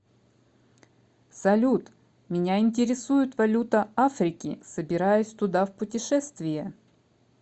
салют меня интересует валюта африки собираюсь туда в путешествие